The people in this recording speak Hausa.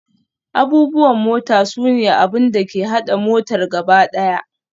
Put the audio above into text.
Abubuwan mota sune abin da ke haɗa motar gaba ɗaya.